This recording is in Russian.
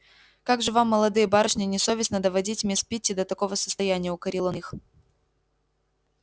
как же вам молодые барышни не совестно доводить мисс питти до такого состояния укорил он их